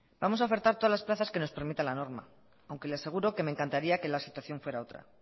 vamos a ofertar todas las plazas que nos permita la norma aunque le aseguro que me encantaría que la situación fuera otra